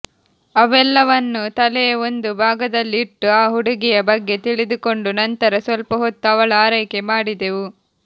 ಅವೆಲ್ಲವನ್ನು ತಲೆಯ ಒಂದು ಭಾಗದಲ್ಲಿ ಇಟ್ಟು ಆ ಹುಡುಗಿಯ ಬಗ್ಗೆ ತಿಳಿದುಕೊಂಡು ನಂತರ ಸ್ವಲ್ಪ ಹೊತ್ತು ಅವಳ ಆರೈಕೆ ಮಾಡಿದೆವು